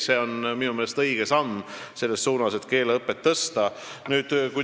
See on minu meelest õige samm selles suunas, et keeleõpet parandada.